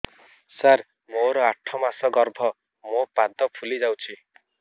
ସାର ମୋର ଆଠ ମାସ ଗର୍ଭ ମୋ ପାଦ ଫୁଲିଯାଉଛି